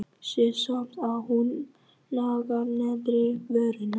Sé samt að hún nagar neðri vörina.